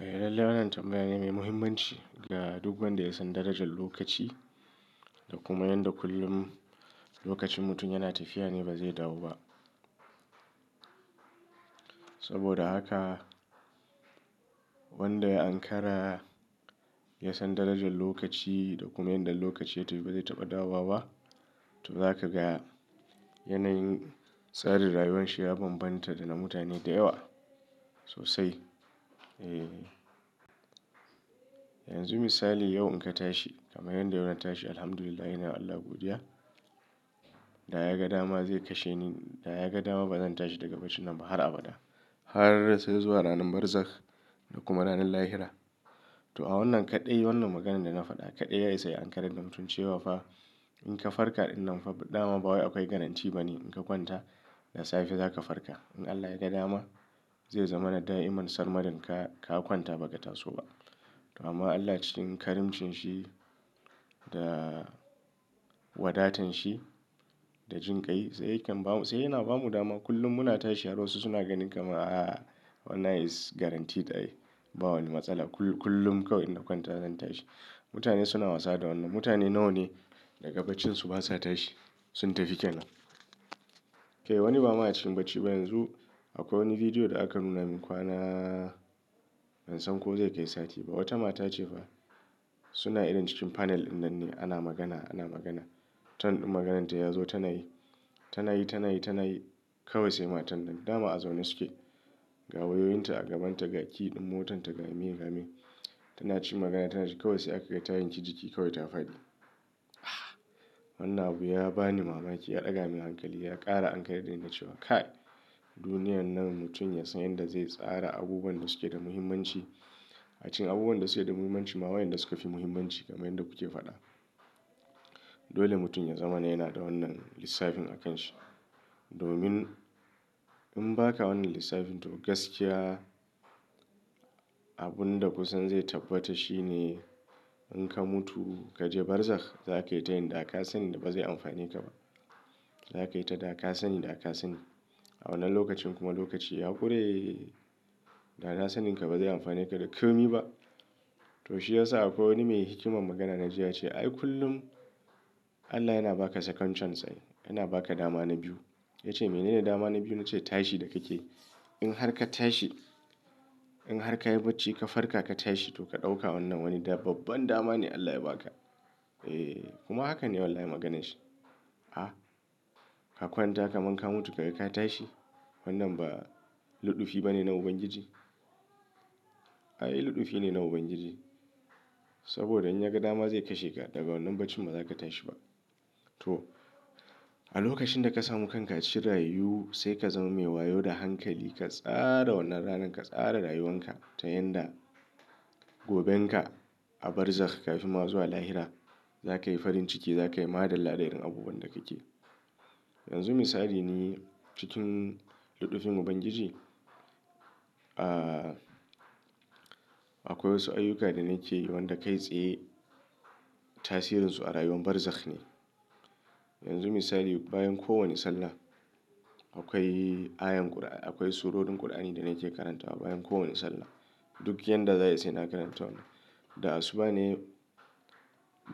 Eh lallai wannan tambaya ne mai muhimmanci ga duk wanda ya san darajar lokaci da kuma yadda kullum lokacin mutum yana tafiya ne ba zai dawo ba. Saboda haka wanda ya ankara ya san darajar lokaci da kuma yadda lokaci ya tafi ba zai taɓa dawowa ba. To za ka ga yanayin tsarin rayuwarsa ya bambanta da na mutane da yawa sosai. Eh, yanzu misali yau in ka tashi kamar yadda yau na tashi Alhamdulillah ina wa Allah godiya, da ya ga dama zai kashe ni, da ya ga dama ba zan tashi daga bacina ba har abada. Har sai zuwa ranar barzakh da kuma ranar lahira. To a wannan kaɗai wannan maganan da na faɗa kaɗai ya isa ya Ankara da mutun cewa fa in ka farka wannan dama ba wai akwai garantti ba ne in ka kwanta da safe za ka farka. In Allah ya ga dama zai zama na da'iman sar madin ka kwanta ba ka taso ba. To amma Allah cikin karamcin shi da wadatanshi da jinƙai sai yana ba mu dama kullum muna tashi har wasu suna ganin kamar a wannan is guaranteed ai ba wani matsala kullum kawai in na kwanta zan tashi. Mutane suna wasa da wannan. Mutane nawa ne daga bacinsu basa tashi sun tafi kenan. Kai wani ba ma a cikin bacci ba yanzu akwai wani bidiyo da aka nuna min kwana ban san ko zai kai sati ba. Wata mata ce fa suna irin cikin panel ɗin nan ne ana magana ana magana. Turn ɗin maganarta ya zo tana yi, tana yi, tana yi, tana yi kawai sai matar nan dama a zaune suke. Gawayoyinta a gabanta, gaki ɗin motarta gami gami. Tana ci magana tana ci kawai sai aka kai ta yin kici jiki kawai ta faɗi. Ah wannan abu ya ba ni mamaki ya ɗaga min hankali ya ƙara Ankara'n da inda cewa kai duniyar nan mutum ya san yadda zai tsara abubuwan da suke da muhimmanci. A cikin abubuwan da suke da muhimmanci ma waɗanda suka fi muhimmanci kamar yadda kuke faɗa. Dole mutum ya zama yana da wannan lissafin a kanshi. Domin in ba ka wannan lissafin to gaskiya abin da kusan zai tabbata shi ne in ka mutu kaje barzakh za kai yi ta yin dakasani da ba zai amfane ka ba. Za ka yi ta dakasani dakasani a wannan lokacin kuma lokaci ya ƙure. Dakasaninka ba zai amfane ka da ƙirmi ba. To shi ya sa akwai wani mai hikimar magana na ji ya ce "Ai kullum Allah yana ba ka second chance ai. Yana ba ka dama na biyu." Ya ce me ne da dama na biyu? Na ce tashi da kake. In har ka tashi in har ka yi bacci ka farka ka tashi to ka ɗauka wannan wani da babban dama ne Allah ya ba ka. Eh kuma hakan ne wallahi maganar shi. Ah ka kwanta kamar ka mutu ka kai ka tashi wannan ba luɗufi ba ne na ubangiji? Ai luɗufi ne na ubangiji. Saboda in ya ga dama zai kashe ka daga wannan bacin ba za ka tashi ba. To a lokacin da ka samu kanka cikin rayu sai ka zama mai wayo da hankali ka tsara wannan ranar ka tsara rayuwan ka ta yanda goben ka a barzakh kafin ma zuwa lahira za ka yi farin ciki za ka yi madalla da irin abubuwan da kake. Yanzu misali ni cikin luɗufin ubangiji, ah akwai wasu ayyuka da nake yi wanda kai tsaye tasirinsu a rayuwan barzakh ne. Yanzu misali bayan kowane sallah akwai ayan ƙur'an akwai surorin ƙur'ani da nake karantawa bayan kowane sallah. Duk yadda zai sai na karanta wannan. Da asuba ne